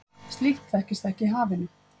Slíkt þekkist ekki í hafinu.